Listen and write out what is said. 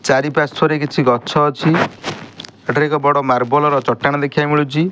ଚାରି ପାର୍ଶ୍ଵରେ ରେ କିଛି ଗଛ ଅଛି ଏଟାରେ ମାର୍ବଲ ଚଟାଣ ଦେଖି ବାକୁ ମିଳୁଛି।